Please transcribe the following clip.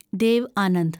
Dev Anand